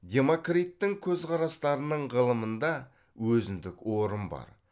демокриттің көзқарастарының ғылымында өзіндік орын бар